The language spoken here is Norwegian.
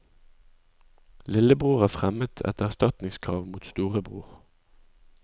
Lillebror har fremmet et erstatningskrav mot storebror.